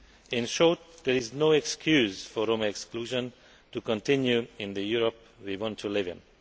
In short, there is no excuse for Roma exclusion to continue in the Europe we want to live in.